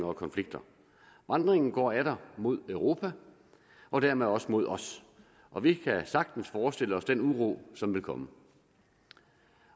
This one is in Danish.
og konflikter vandringen går atter mod europa og dermed også mod os og vi kan sagtens forestille os den uro som vil komme